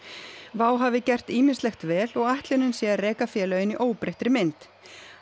WOW hafi gert ýmislegt vel og ætlunin sé að reka félögin í óbreyttri mynd